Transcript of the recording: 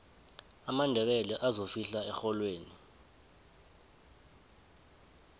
amandebele azofihla erholweni